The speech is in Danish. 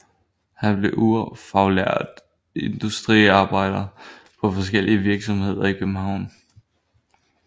Han blev ufaglært industriarbejder på forskellige virksomheder i København